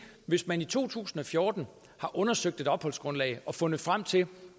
hvis man i to tusind og fjorten har undersøgt et opholdsgrundlag og fundet frem til